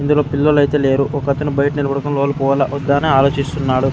ఇందులో పిల్లలు అయితే లేరు. ఒక అతను బయట నిలబడుకుని లోపల పోవాలా వొద్దా అని ఆలోచిస్తున్నాడు.